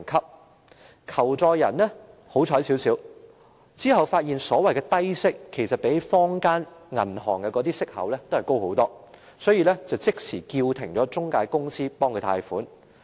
這名求助人較為幸運，他發現所謂的低息相比坊間銀行的利息高很多，於是即時叫停了中介公司不用代他安排貸款。